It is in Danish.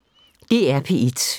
DR P1